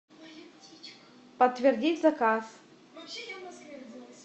подтвердить заказ